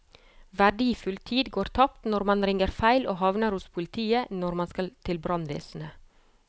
Verdifull tid går tapt når man ringer feil og havner hos politiet når man skal til brannvesenet.